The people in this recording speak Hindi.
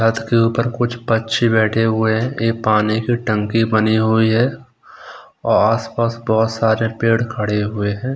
छत के ऊपर कुछ बच्चे बैठे हुए है एक पानी की टंकी बनी हुई है और आस-पास बहुत सारे पेड़ खड़े हुए हैं।